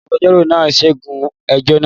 Agbẹjọ́rò náà ṣẹ́gun ẹjọ́ náà?